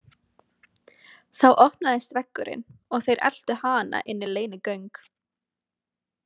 Þá opnaðist veggurinn og þeir eltu hana inn í leynigöng.